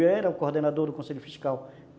Eu era o coordenador do conselho fiscal.